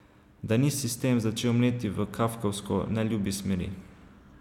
Da ni sistem začel mleti v kafkovsko neljubi smeri?